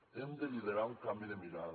hem de liderar un canvi de mirada